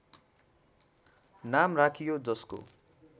नाम राखियो जसको